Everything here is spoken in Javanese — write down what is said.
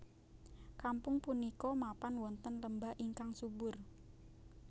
Kampung punika mapan wonten lembah ingkang subur